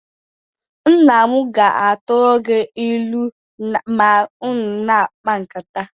Nna m ga-atụrụ gị ilu ma unu na-akpa nkata